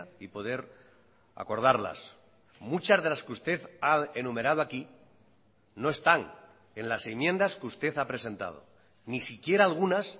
y poder acordarlas muchas de las que usted ha enumerado aquí no están en las enmiendas que usted ha presentado ni siquiera algunas